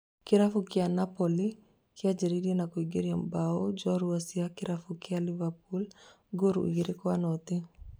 Kĩrabu kĩa Napoli kĩa njĩrĩirie na kuingĩria mbaũ njorua cia kĩrabu kĩa Liverpool ngolu igĩrĩ kwa noti